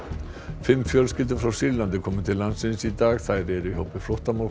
fimm fjölskyldur frá Sýrlandi komu til landsins í dag þær eru í hópi flóttafólks